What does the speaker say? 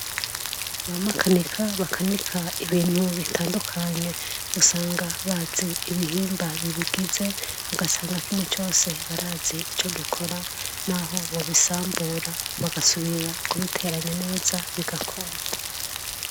bamakanika bakanika ibintu bitandukanye gusanga bazi ibihimba bibigize bugasanga kimwe cyose barazi icyo gikora n'aho mubisambura bagasubira kubiteranya neza bigakora